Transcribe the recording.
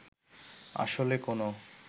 আসলে কোনো